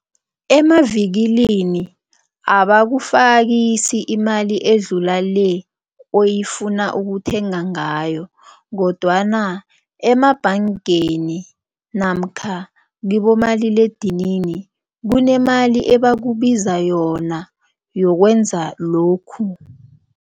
Emavikilini abakufakisi imali edlula le oyifuna ukuthenga ngayo kodwana emabhangeni namkha kibomaliledinini kunemali ebakubiza yona yokwenza lokhu.